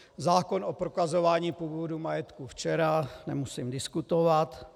Zákon o prokazování původu majetku včera - nemusím diskutovat.